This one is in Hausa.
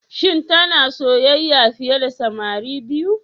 Shin tana soyayya fiye da samari biyu?